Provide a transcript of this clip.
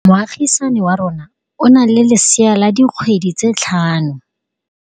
Moagisane wa rona o na le lesea la dikgwedi tse tlhano.